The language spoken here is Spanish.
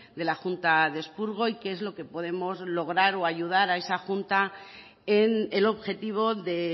de la junta de expurgo y qué es lo que podemos lograr o ayudar a esa junta en el objetivo de